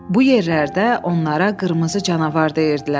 Bu yerlərdə onlara qırmızı canavar deyirdilər.